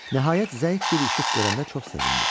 Nəhayət zəif bir işıq görəndə çox sevindi.